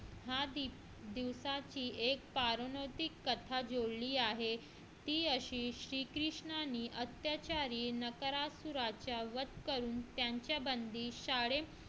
ह्या दिवसाची एक पौराणिक कथा जोडली आहे ती अशी श्रीकृष्णाने अत्याचारी नरकासुराचा वध करून त्यांच्या बंदी शाळे